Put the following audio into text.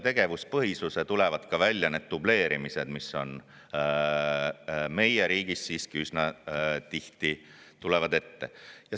Tegevuspõhisuse kaudu tulevad aga välja need dubleerimised, mis meie riigis siiski üsna tihti ette tulevad.